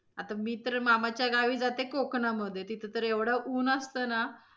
आता मी तर मामाच्या गावी जाते कोकणामधे तिथं तर एवढं ऊन असतं ना.